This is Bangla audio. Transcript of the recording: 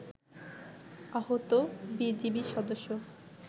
আহত বিজিবি সদস্য